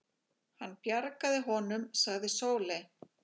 Hann bjargaði honum, sagði Sóley.